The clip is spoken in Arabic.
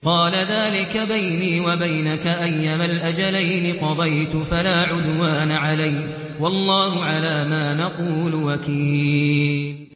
قَالَ ذَٰلِكَ بَيْنِي وَبَيْنَكَ ۖ أَيَّمَا الْأَجَلَيْنِ قَضَيْتُ فَلَا عُدْوَانَ عَلَيَّ ۖ وَاللَّهُ عَلَىٰ مَا نَقُولُ وَكِيلٌ